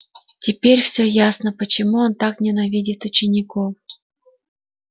теперь всё ясно почему он так ненавидит учеников